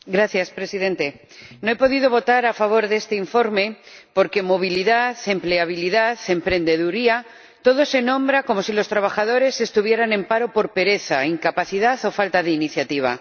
Señor Presidente, no he podido votar a favor de este informe porque movilidad, empleabilidad, emprendeduría, todo se nombra como si los trabajadores estuvieran en paro por pereza, incapacidad o falta de iniciativa.